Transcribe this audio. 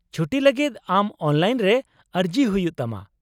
ᱪᱷᱩᱴᱤ ᱞᱟᱹᱜᱤᱫ ᱟᱢ ᱚᱱᱞᱟᱤᱱ ᱨᱮ ᱟᱹᱨᱡᱤ ᱦᱩᱭᱩᱜ ᱛᱟᱢᱟ ᱾